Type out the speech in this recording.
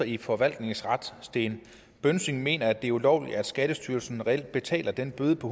i forvaltningsret sten bønsing mener at det er ulovligt når skattestyrelsen reelt betaler den bøde på